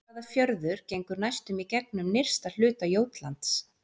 Hvaða fjörður gengur næstum í gegnum nyrsta hluta Jótlands?